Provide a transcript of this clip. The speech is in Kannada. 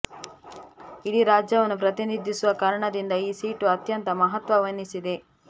ಇಡೀ ರಾಜ್ಯವನ್ನು ಪ್ರತಿನಿಧಿಸುವ ಕಾರಣದಿಂದ ಈ ಸೀಟು ಅತ್ಯಂತ ಮಹತ್ವ ವಹಿಸಿದೆ